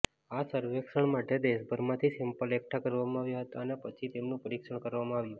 આ સર્વેક્ષણ માટે દેશભરમાથી સેમ્પલ એકઠા કરવામાં આવ્યા હતા અને પછી તેમનુ પરીક્ષણ કરવામાં આવ્યુ